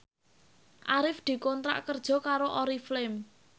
Arif dikontrak kerja karo Oriflame